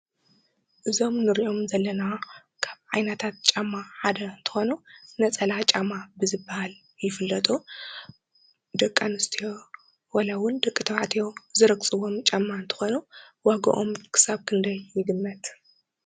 እዞም ንሪኦም ዘለና ካብ ዓይነታት ጫማ ሓደ እንትኾኑ ነፀላ ጫማ ብዝበሃል ይፍለጡ። ደቂ ኣንስትዮ ዋላ እውን ደቂ ተባዕቲዮ ዝረግፅዎም ጫማ እንትኾኑ ዋግኦም ክሳብ ክንደይ ይግመት ?